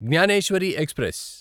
Gnaneshwari express